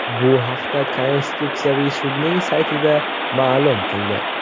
Bu haqda Konstitutsiyaviy sudning saytida ma’lum qildi .